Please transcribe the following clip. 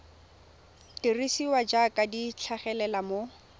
dirisiwa jaaka di tlhagelela mo